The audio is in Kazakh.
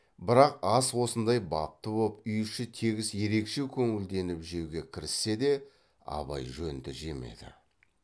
бірақ ас осындай бапты боп үй іші тегіс ерекше көңілденіп жеуге кіріссе де абай жөнді жемеді